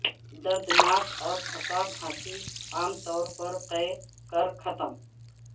دردناک اور تھکا کھانسی عام طور پر قے کر ختم